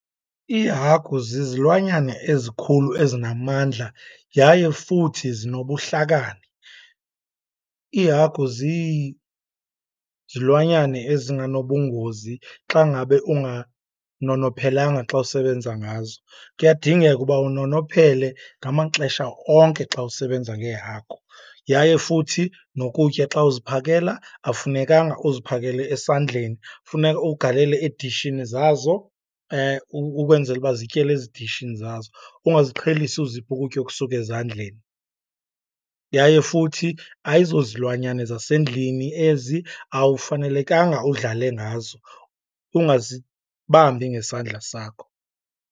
Iihagu zizilwanyane ezikhulu ezinamandla yaye futhi zinobuhlakani. Iihagu zizilwanyane ezinganobungozi xa ngabe unganonophelanga xa usebenza ngazo. Kuyadingeka uba unonophele ngamaxesha onke xa usebenza ngeehagu. Yaye futhi nokutya xa uziphakela, awufunekanga uziphakele esandleni, funeka ukugalele edishini zazo ukwenzela uba zityele ezidishini zazo ungaziqhelisi uzipha ukutya okusuka ezandleni. Yaye futhi ayizozilwanyane zasendlini ezi, awufanelekanga udlale ngazo, ungazibambi ngesandla sakho.